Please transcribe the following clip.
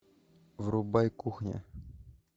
врубай кухня